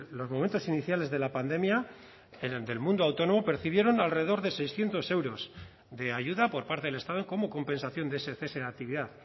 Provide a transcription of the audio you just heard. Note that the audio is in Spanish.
los momentos iniciales de la pandemia del mundo autónomo percibieron alrededor de seiscientos euros de ayuda por parte del estado como compensación de ese cese de actividad